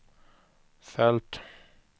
följt